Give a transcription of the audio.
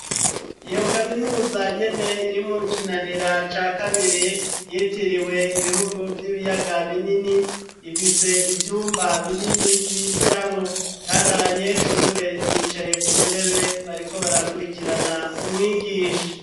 Iyo kaminuza nyene iri mu Kinanira ca kabiri yitiriwe ibihugu vy'ibiyaga binini, ifise ivyumba binini bigiramwo, kandi abanyeshure bicaye ku ntebe bariko barakurikirana umwigisha.